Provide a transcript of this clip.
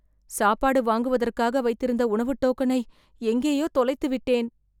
சாப்பாடு வாங்குவதற்காக வைத்திருந்த உணவு டோக்கனை எங்கேயோ தொலைத்துவிட்டேன்